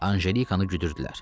Anjelikanı güdürdülər.